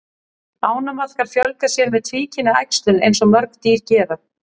Ánamaðkar fjölga sér með tvíkynja æxlun eins og mörg dýr gera.